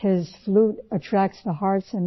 گائیں کے ریوڑ ، اُن کی تعریف کرتے ہیں